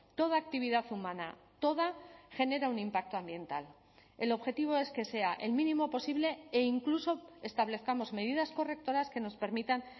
toda actividad humana toda genera un impacto ambiental el objetivo es que sea el mínimo posible e incluso establezcamos medidas correctoras que nos permitan